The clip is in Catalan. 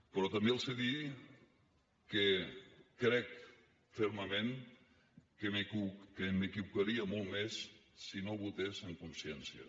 però també els he de dir que crec fermament que m’equivocaria molt més si no votés en consciència